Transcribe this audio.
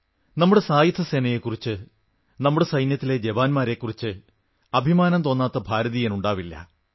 നമ്മുടെ സായുധസേനയെക്കുറിച്ച് നമ്മുടെ സൈന്യത്തിലെ ജവാന്മാരെക്കുറിച്ച് അഭിമാനം തോന്നാത്ത ഒരു ഭാരതീയനുമുണ്ടാവില്ല